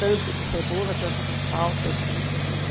Tanto de cebola, tanto de sal, tanto de não sei o que.